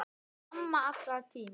Amma allra tíma.